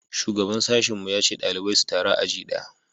shugaban sashin mu ya ce ɗalibai su taru a aji daya